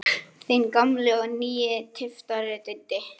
Þinn gamli og nýi tyftari, Diddi.